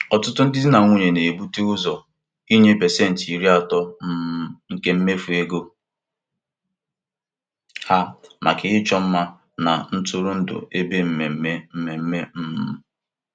Di na nwunye ahụ ji nlezianya kwado mmefu ego agbamakwụkwọ ha maka iji zere ụgwọ na nsogbu ego.